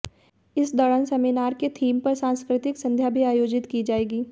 इस दौरान सेमिनार के थीम पर सांस्कृतिक संध्या भी आयोजित की जाएगी